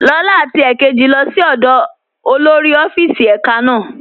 Lọla àti èkéjì lọ sí ọ̀dọ́ olórí ọ̀fíìsì èká náà.